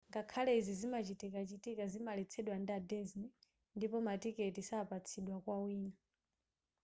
ngakhale izi zimachitikachitika zimaletsedwa ndi a disney ndipo matiketi sapatsidwa kwa wina